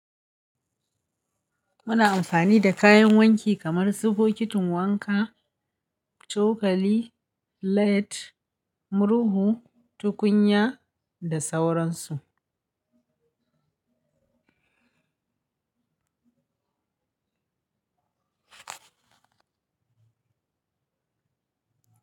Muna amfani da kayan wanki kamar su bokitin wanka, cokali, lead, murhu, tukunya da sauransu.